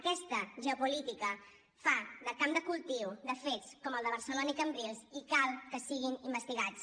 aquesta geopolítica fa de camp de cultiu de fets com el de barcelona i cambrils i cal que siguin investigats